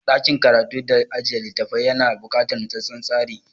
Ɗakin karatu da ajiye littafafai yana buƙatar nutsattsen tsari.